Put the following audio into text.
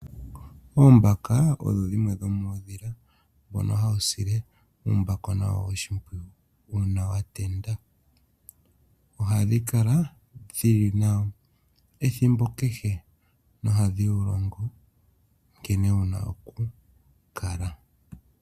Oombaka odho dhimwe dhomoondhila mbono hawu sile uumbakona wawo oshimpwiyu, uuna wa tenda. Ohadhi kala dhili nawo ethimbo kehe nohadhi wu longo nkene wu na oku kala.